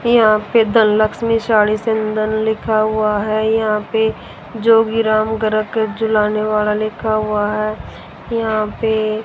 यहां पे द लक्ष्मी साड़ी सेंदन लिखा हुआ है यहां पे जोगीराम ग्रहकेट झूलाने वाला लिखा है यहां पे --